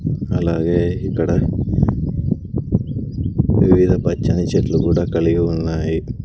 అలాగే ఇక్కడ వివిధ పచ్చనిచెట్లు కూడా కలిగి ఉన్నాయి.